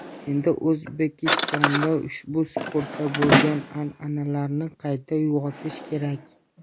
Endi O‘zbekistonda ushbu sportda bo‘lgan an’analarni qayta uyg‘otish kerak.